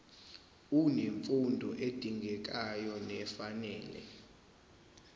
unemfundo edingekayo nefanele